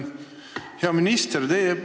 Hea minister!